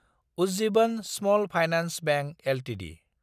Ujjivan small finance bank Ltd